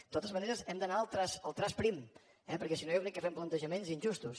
de totes maneres hem d’anar al traç prim eh perquè si no jo crec que fem plantejaments injustos